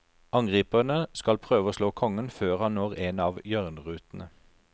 Angriperne skal prøve å slå kongen før han når en av hjørnerutene.